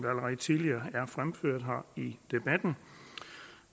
allerede tidligere er fremført her i debatten